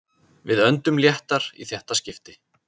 Við öndum léttar í þetta skiptið